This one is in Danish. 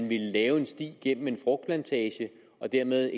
ville lave en sti gennem en frugtplantage og dermed